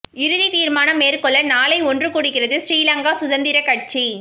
இறுதி தீர்மானம் மேற்கொள்ள நாளை ஒன்று கூடுகிறது ஸ்ரீ லங்கா சுதந்திர கட்சி